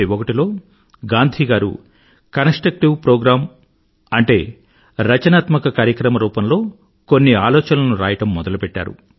1941లో గాంధీ గారు constructive programme అంటేరచనాత్మక కార్యక్రమ రూపంలో కొన్ని ఆలోచనలను రాయడం మొదలుపెట్టారు